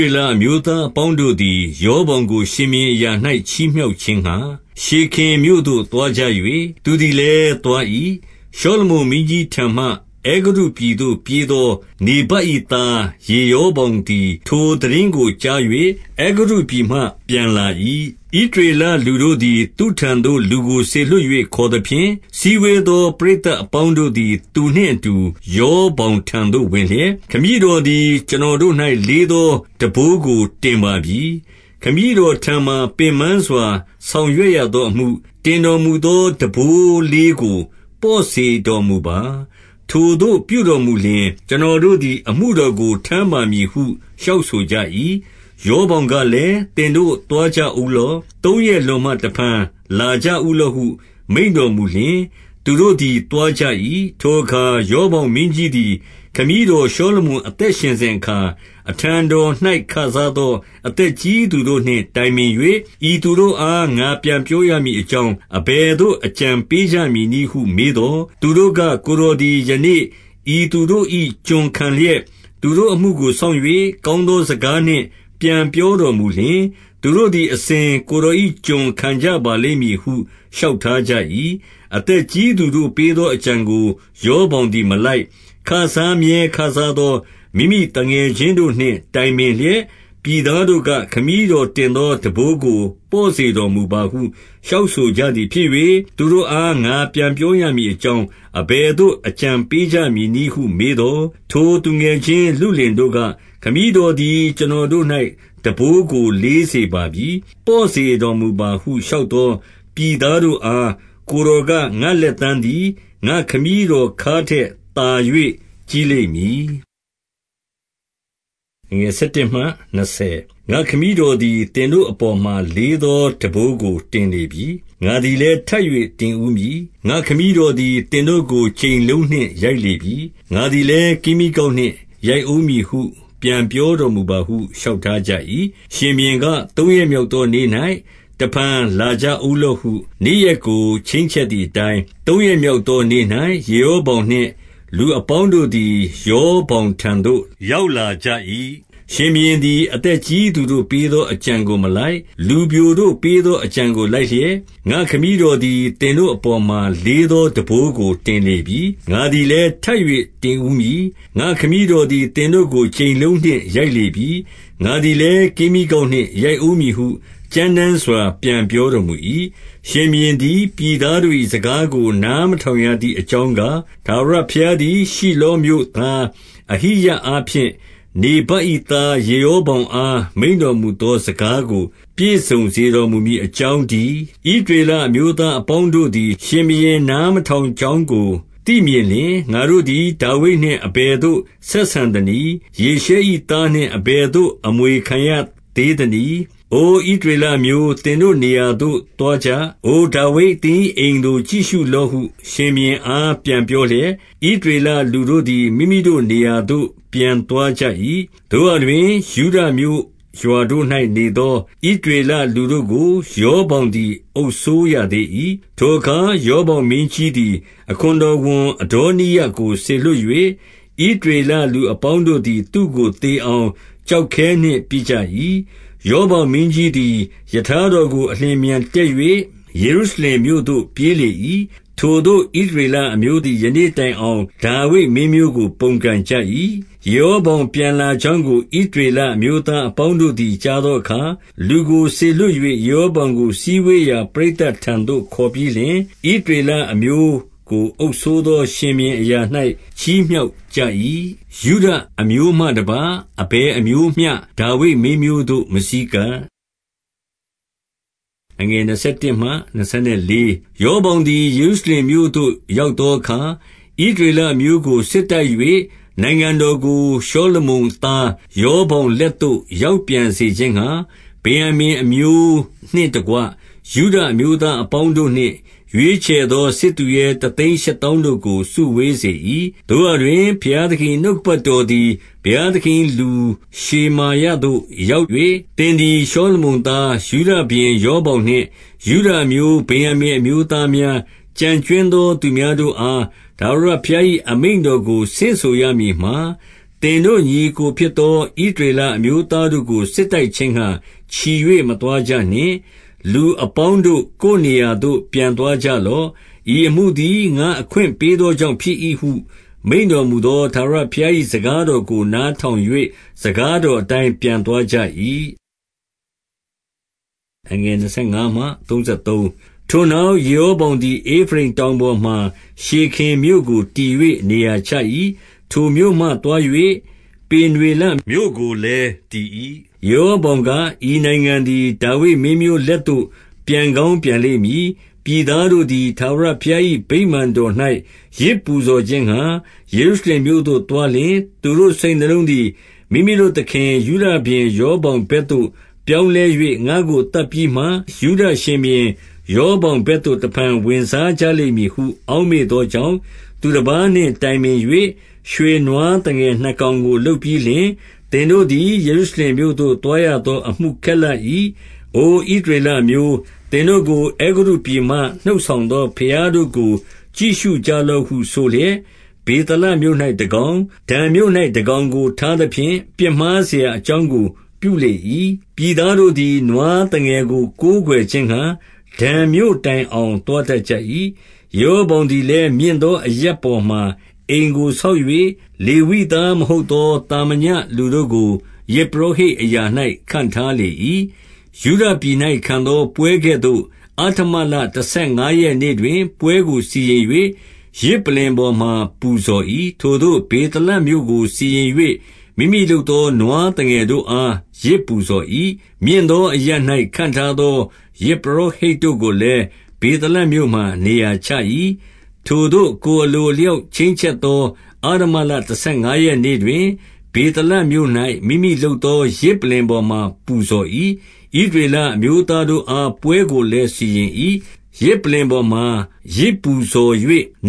ေလအမျိုးသားအပေါင်းတို့သည် ရောဗောင်ကို ရှင်ဘုရင်အရာ၌ ချီးမြှောက်ခြင်းငှါ၊ ရှေခင်မြို့သို့သွားကြ၍ သူသည်လည်း သွား၏။ 2 ရှောလမုန်မင်းကြီးထံမှ အဲဂုတ္တုပြည်သို့ ပြေးသော နေဗတ်၏သား ယေရောဗောင်သည် ထိုသိတင်း ကိုကြား၍ အဲဂုတ္တုပြည်မှ ပြန်လာ၏။ 3 ဣသရေလလူတို့သည် သူ့ထံသို့လူကိုစေလွှတ်၍ ခေါ်သဖြင့်၊ စည်းဝေးသော ပရိသတ်အပေါင်းတို့သည် သူနှင့်အတူ ရောဗောင်ထံသို့ ဝင်လျက်၊ 4 ခမည်းတော်သည် ကျွန်တော်တို့၌ လေးသောထမ်းဘိုးကိုတင်ပါပြီ။ ခမည်းတော်ထံမှာ ပင်ပန်းစွာ ဆောင်ရွက်ရသောအမှု၊ တင်တော်မူသော ထမ်းဘိုးလေး ကို ပေါ့စေတော်မူပါ။ ထိုသို့ပြုတော်မူလျှင်၊ ကျွန်တော် တို့သည် အမှုတော်ကို ထမ်းပါမည်ဟု လျှောက်ဆိုကြ၏။ 5 ရောဗောင်ကလည်း၊ သင်တို့သွားကြဦးလော့။ သုံးရက်လွန်မှ တဖန်လာကြဦးလော့ဟု မိန့်တော်မူလျှင်၊ သူတို့သည် သွားကြ၏။ 6 ထိုအခါ ရောဗောင်မင်းကြီးသည် ခမည်းတော်ရှောလမုန် အသက်ရှင်စဉ်အခါ၊ အထံတော်၌ ခစားသော အသက်ကြီးသူတို့နှင့် တိုင်ပင်၍၊ ဤသူတို့အား ငါပြန်ပြောရမည်အကြောင်း အဘယ်သို့အကြံပေး ကြမည်နည်းဟု မေးသော်၊ 7 သူတို့က၊ ကိုယ်တော်သည် ယနေ့ဤသူတို့၏ ကျွန်ခံလျက်၊ သူတို့အမှုကို စောင့်၍ ကောင်းသော စကား နှင့်ပြန်ပြောတော်မူလျှင်၊ သူတို့သည် အစဉ်ကိုယ်တော်၏ ကျွန်ခံကြပါလိမ့်မည်ဟု လျှောက်ထားကြ၏။ 8 အသက်ကြီးသူတို့ပေးသော အကြံကို ရောဗောင်သည်မလိုက်။ ခစားမြဲခစားသော မိမိသူငယ်ချင်း တို့နှင့် တိုင်ပင်လျက်၊ 9 ပြည်သားတို့က၊ ခမည်းတော်တင်သောထမ်းဘိုးကို ပေါ့စေတော်မူပါဟု လျှောက်ဆိုကြသည်ဖြစ်၍၊ သူတို့ အား ငါပြန်ပြောရမည်အကြောင်း အဘယ်သို့ အကြံပေး ကြမည်နည်းဟု မေးသော်၊ 10 ထိုသူငယ်ချင်းလုလင်တို့က၊ ခမည်းတော်သည် ကျွန်တော်တို့၌ ထမ်းဘိုးကို လေးစေပါပြီ။ ပေါ့စေတော် မူပါဟု လျှောက်သောပြည်သားတို့အား၊ ကိုယ်တော်က၊ ငါ့လက်သန်းသည် ငါ့ခမည်းတော်ခါးထက်သာ၍ ကြီးလိမ့် မည်။ 11 ငါ့ခမည်းတော်သည် သင်တို့အပေါ်မှာ လေးသောထမ်းဘိုးကိုတင်လေပြီ။ ငါသည်လည်းထပ်၍ တင်ဦးမည်။ ငါ့ခမည်းတော်သည် သင်တို့ကို ကြိမ်လုံးနှင့် ရိုက်လေပြီ။ ငါသည်လည်း ကင်းမြီးကောက်နှင့် ရိုက်ဦး မည်ဟု ပြန်ပြောတော်မူပါဟု လျှောက်ထားကြ၏။ 12 ရှင်ဘုရင်က၊ သုံးရက်မြောက်သောနေ့၌ တဖန် လာကြဦးလော့ဟု နေ့ရက်ကို ချိန်းချက်သည်အတိုင်း၊ သုံးရက်မြောက်သောနေ့၌ ယေရောဗောင်နှင့် လူအပေါင်းတို့သည် ရောဗောင်ထံသို့ ရောက်လာကြ၏။ 13 ရှင်ဘုရင်သည် အသက်ကြီးသူတို့ပေးသော အကြံကိုမလိုက်။ လူပျိုတို့ပေးသောအကြံကို လိုက်လျက်၊ 14 ငါ့ခမည်းတော်သည် သင်တို့အပေါ်မှာ လေးသော ထမ်းဘိုးကိုတင်လေပြီ။ ငါသည်လည်းထပ်၍ တင်ဦးမည်။ ငါ့ခမည်းတော်သည် သင်တို့ကို ကြိမ်လုံးနှင့် ရိုက်လေပြီ။ ငါသည်လည်း ကင်းမြီးကောက်နှင့် ရိုက်ဦးမည်ဟု ကြမ်းတမ်းစွာ ပြန်ပြောတော်မူ၏။ 15 ရှင်ဘုရင်သည် ပြည်သားတို့၏ စကားကိုနားမထောင်ရသည်အကြောင်းကား၊ ထာဝရဘုရားသည် ရှိလောမြို့သား အဟိယအားဖြင့် နေဗတ်၏သား ယေရောဗောင်အား မိန့်တော်မူသောစကားကို ပြည့်စုံစေ တော်မူမည်အကြောင်းတည်း။ 16 ဣသရေလအမျိုးသားအပေါင်းတို့သည် ရှင်ဘုရင် နားမထောင်ကြောင်းကို သိမြင်လျှင်၊ ငါတို့သည် ဒါဝိဒ်နှင့်အဘယ်သို့ဆက်ဆံသနည်း။ ယေရှဲ၏သားနှင့် အဘယ်သို့ အမွေခံရသေးသနည်း။ အိုဣသ ရေလအမျိုး၊ သင်တို့နေရာသို့ သွားကြ။ အိုဒါဝိဒ်၊ သင်၏ အိမ်ကို ကြည့်ရှုလော့ဟု ရှင်ဘုရင်အားပြန်ပြောလျက်၊ ဣသရေလလူတို့သည် မိမိတို့နေရာသို့ပြန်သွားကြ၏။ 17 သို့ရာတွင် ယုဒမြို့ရွာတို့၌နေသော ဣသရေလ လူတို့ကို ရောဗောင်သည် အုပ်စိုးရသေး၏။ 18 ထိုအခါ ရောဗောင်မင်းကြီးသည် အခွန်တော်ဝန် အဒေါနိရံကို စေလွှတ်၍ ဣသရေလလူအပေါင်းတို့ သည် သူ့ကိုသေအောင် ကျောက်ခဲနှင့် ပစ်ကြ၏။ 19 ရောဗောင်မင်းကြီးသည် ရထားတော်ကို အလျင်အမြန်တက်၍ ယေရုရှလင်မြို့သို့ ပြေးလေ၏။ ထိုသို့ ဣသရေလအမျိုးသည် ယနေ့တိုင်အောင် ဒါဝိဒ် မင်းမျိုးကို ပုန်ကန်ကြ၏။ 20 ယေရောဗောင်ပြန်လာကြောင်းကို ဣသရေလ အမျိုးသားအပေါင်းတို့သည် ကြားသောအခါ၊ လူကို စေလွှတ်၍၊ ယေရောဗောင်ကို စည်းဝေးရာ ပရိသတ်ထံသို့ ခေါ်ပြီးလျှင်၊ ဣသရေလအမျိုးကို အုပ်စိုးသော ရှင်ဘုရင်အရာ၌ ချီးမြှောက်ကြ၏။ ယုဒအမျိုးမှတပါး အဘယ်အမျိုးမျှ ဒါဝိဒ်မင်းမျိုးသို့ မဆည်းကျပ်။ 21 ရောဗောင်သည် ယေရုရှလင်မြို့သို့ ရောက်သောအခါ၊ ဣသရေလအမျိုးကို စစ်တိုက်၍ နိုင်ငံတော်ကို ရှောလမုန်သား ရောဗောင်လက်သို့ရောက်ပြန်စေခြင်းငှါ၊ ဗင်္ယာမိန်အမျိုးနှင့်တကွ ယုဒအမျိုးသားအပေါင်းတို့နှင့် ရွေးချယ်သော စစ်သူရဲတသိန်းရှစ်သောင်းတို့ကို စုဝေး စေ၏။ 22 သို့ရာတွင် ဘုရားသခင်၏ နှုတ်ကပတ်တော်သည် ဘုရားသခင်၏လူရှေမာယသို့ ရောက်၍၊ 23 သင်သည် ရှောလမုန်သား၊ ယုဒရှင်ဘုရင် ရောဗောင်နှင့် ယုဒအမျိုး၊ ဗင်္ယာမိန်အမျိုးသားများ၊ ကျန်ကြွင်းသော သူများတို့အား ထာဝရဘုရား၏ အမိန့် တော်ကို ဆင့်ဆိုရမည်မှာ၊ 24 သင်တို့ညီအစ်ကိုဖြစ်သော ဣသရေလ အမျိုးသားတို့ကို စစ်တိုက်ခြင်းငှါ ချီ၍မသွားကြနှင့်။ လူအပေါင်းတို့၊ ကိုယ်နေရာသို့ ပြန်သွားကြလော့။ ဤအမှုသည် ငါအခွင့်ပေးကြောင့် ဖြစ်၏ဟု မိန့်တော်မူသော ထာဝရဘုရား၏စကားတော်ကို နားထောင်၍ စကား တော်အတိုင်း ပြန်သွားကြ၏။ 25 ထိုနောက် ယေရောဗောင်သည် ဧဖရိမ်တောင်ပေါ်မှာ ရှေခင်မြို့ကို တည်၍ နေရာချ၏။ ထိုမြို့မှသွား၍ ပေနွေလမြို့ကိုလည်း တည်၏။ 26 ယေရောဗောင်က၊ ဤနိုင်ငံသည် ဒါဝိဒ်မင်းမျိုး လက်သို့ ပြန်ကောင်းပြန်လိမ့်မည်။ 27 ပြည်သားတို့သည် ထာဝရဘုရား၏ ဗိမာန်တော်၌ ယဇ်ပူဇော်ခြင်းငှါ ယေရုရှလင်မြို့သို့သွားလျှင်၊ သူတို့ စိတ်နှလုံးသည် မိမိတို့သခင် ယုဒရှင်ဘုရင် ရောဗောင်ဘက်သို့ပြောင်းလဲ၍၊ ငါ့ကိုသတ်ပြီးမှ ယုဒရှင်ဘုရင် ရောဗောင်ဘက်သို့ တဖန် ဝင်စားကြလိမ့်မည်ဟု အောက် မေ့သောကြောင့်၊ 28 သူတပါးနှင့်တိုင်ပင်၍ ရွှေနွားသငယ်နှစ်ကောင် ကို လုပ်ပြီးလျှင်၊ သင်တို့သည် ယေရုရှလင်မြို့သို့ သွားရ သော အမှုခက်လှ၏။ အို ဣသရေလအမျိုး၊ သင်တို့ကို အဲဂုတ္တုပြည်မှ နှုတ်ဆောင်သော ဘုရားတို့ကို ကြည့်ရှုကြ လော့ဟု ဆိုလျက်၊ 29 ဗေသလမြို့၌တကောင်၊ ဒန်မြို့၌တကောင်ကို ထားသဖြင့်၊ 30 ပြစ်မှားစရာအကြောင်းကို ပြုလေ၏။ ပြည်သားတို့သည် နွားသငယ်ကို ကိုးကွယ်ခြင်းငှါ၊ ဒန်မြို့တိုင်အောင် သွားတတ်ကြ၏။ 31 ယေရောဗောင်သည်လည်း၊ မြင့်သောအရပ်ပေါ်မှာ အိမ်ကိုဆောက်၍၊ လေဝိသားမဟုတ်သော သာမညလူတို့ကို ယဇ်ပုရောဟိတ်အရာ၌ ခန့်ထားလေ၏။ 32 ယုဒပြည်၌ခံသော ပွဲကဲ့သို့ အဋ္ဌမလတဆယ် ငါးရက်နေ့တွင် ပွဲကိုစီရင်၍၊ ယဇ်ပလ္လင်ပေါ်မှာ ပူဇော်၏။ ထိုသို့ဗေသလမြို့၌စီရင်၍၊ မိမိလုပ်သောနွားသငယ်တို့အား ယဇ်ပူဇော်၏။ မြင့်သောအရပ်၌ ခန့်ထားသော ယဇ်ပုရောဟိတ်တို့ကိုလည်း ဗေသလမြို့မှာနေရာချ၏။ 33 ထိုသို့ကိုယ်အလိုအလျောက် ချိန်းချက်သော အဋ္ဌမလတဆယ်ငါးရက်နေ့တွင် ဗေသလမြို့၌ မိမိလုပ် သော ယဇ်ပလ္လင်ပေါ်မှာပူဇော်၏ ဣသရေလအမျိုးသားတို့အား ပွဲကိုလည်းစီရင်၏ ယဇ်ပလ္လင်ပေါ်မှာ ယဇ်ပူဇော်၍